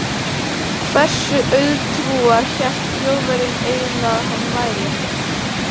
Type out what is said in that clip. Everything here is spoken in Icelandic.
Hversu auðtrúa hélt Þjóðverjinn eiginlega að hann væri?